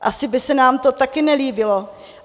Asi by se nám to taky nelíbilo.